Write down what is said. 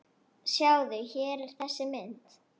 Sjáðu, hér er þessi mynd.